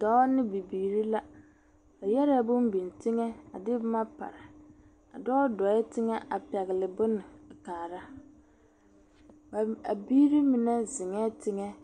Dɔɔ ne bibiiri la. Ba yɛrɛɛ bone biŋ teŋɛ a de boma pare. Adɔɔ dɔɛ teŋɛ a pɛgele boma a kaara. Abiiri mine zeŋɛɛ teŋɛ ka